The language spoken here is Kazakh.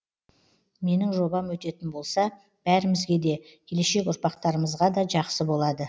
менің жобам өтетін болса бәрімізге де келешек ұрпақтарымызға да жақсы болады